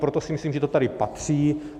Proto si myslím, že to tady patří.